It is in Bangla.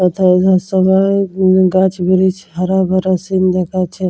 এথায় এ সবাই উম গাছ ব্রিচ হারা ভরা সিন্ দেখাচ্ছে।